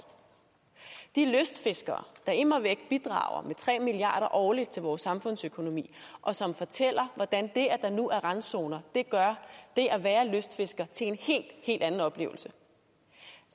de lystfiskere der immer væk bidrager med tre milliard kroner årligt til vores samfundsøkonomi og som fortæller hvordan det at der nu er randzoner gør det at være lystfisker til en helt helt anden oplevelse